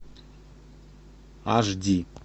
аш ди